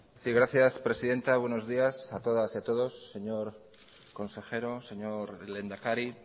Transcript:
sí gracias presidenta buenos días a todas y a todos señor consejero señor lehendakari